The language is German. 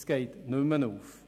Das geht nicht mehr auf.